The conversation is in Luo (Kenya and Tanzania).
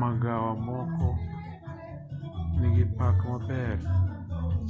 magawa moko nigi pak maber